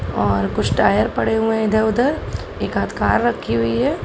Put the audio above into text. और कुछ टायर पड़े हुए हैं। लिप एक आध कार रखी हुई है।